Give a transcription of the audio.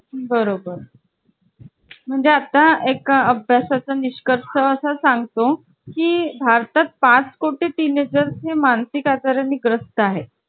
prizefix टाकावे लागते का असं आता मी बोलले जशी की आठशे ते हजार यादरम्यान भेटले तरी चालेल असा टाकता येते का फक्त prizefix टाकायची fix rate च टाकायचं नऊशे तर नऊशे आठशे तर आठशे असं काय असतं का